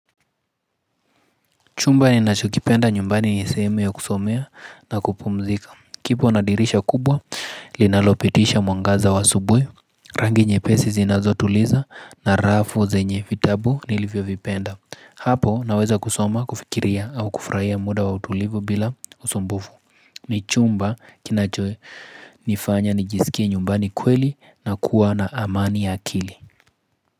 Chumba ninachokipenda nyumbani ni sehemu ya kusomea na kupumzika. Kipo na dirisha kubwa, linalopitisha mwangaza asubuhi. Rangi nyepesi zinazotuliza na rafu zenye vitabu nilivyovipenda. Hapo naweza kusoma, kufikiria au kufurahia muda wa utulivu bila usumbufu. Ni chumba kinachonifanya nijisikie nyumbani kweli na kuwa na amani ya akili.